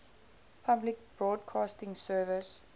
public broadcasting service